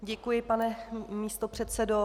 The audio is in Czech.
Děkuji, pane místopředsedo.